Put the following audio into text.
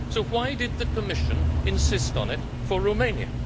So why did the Commission insist on it for Romania?